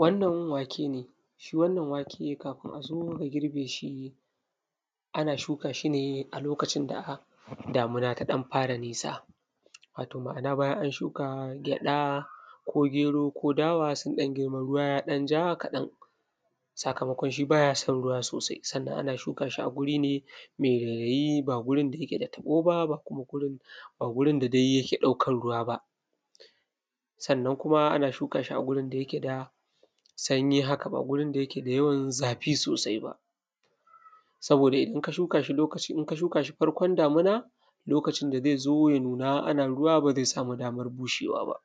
wannan wake ne shi wannan wake kafin a zo a girbe shi ana shuka shi ne a lokavin da damina ta ɗan fara nisa wato ma’ana bajan an shuka gyaɗa ko gero ko dawa sun ɗan girma ruwa ya ɗan ja kaɗan sakamakon shi ba ja son ruwa sosai sannan ana shuka shi ne a wuri mai rairaji ba gurin da jake da taɓo ba ba wurin da dai jake ɗaukan ru:wa ba sannan kuma ana shuka shi a gurin da yake da sanyi haka ba wurin da yake da yawan zafi sosai ba saboda in ka shuka shi farkon damina lokacin da zai zo ja nuna ana ruwa ba zai samu daman budewa ba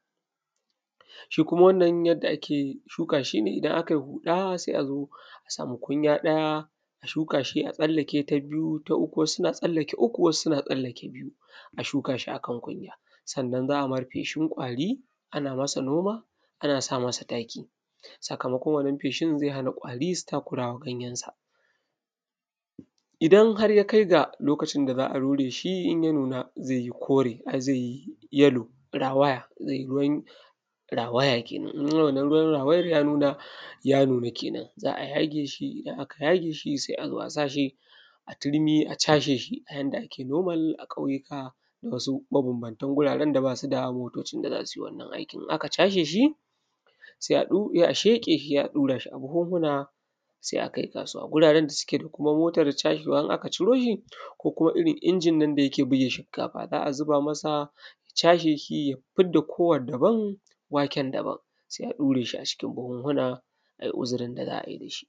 shi kuma wannan yadda ake shuka shi ne idan a kai huɗa sai a zo a samu kunja ɗaja a shuka shi a tsallake ta biyu ta uku wasu suna tsallake uku wasu suna tsallake biyu a shuka shi akan kunya sannan za a mar feshin ƙwari ana masa noma ana sa masa taki sakamakon wannan feshin zai hana ƙwari su takura ma ganyensa idan har ya kai ga lokacin da za a rure shi in ya nuna zai yi kore ai zai yi yellow rawaya zai yi ruwan rawaya kenan idan ruwan rawayan ya nuna kenan za a yage shi in aka yage shi sai zo a sa shi a turmi a chasheshi a yanda ake norma a ƙauyuka da wasu mabanbantan gurare da ba su da motocin da za su ji wadannan ajjukan in aka chasheshi sai a sheƙe shi sai a sa shi a buhuhuna sai a kai kasuwa guraren da kuma suke da motan chashewa in aka ciro shi ko kuma irin injinnan da yake bige shinkafa za a zuba masa ya chasheshia ya fidda kowan daban waken daban sai a ɗure shi a cikin buhuhuna sai a yi uzurin da za a yi da shi.